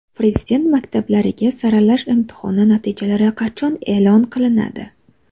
Prezident maktablariga saralash imtihoni natijalari qachon e’lon qilinadi?.